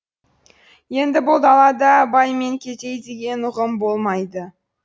енді бұл далада бай мен кедей деген ұғым болмайды